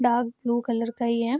Dark blue colour का है ये।